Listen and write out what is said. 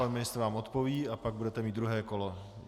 Pan ministr vám odpoví a pak budete mít druhé kolo.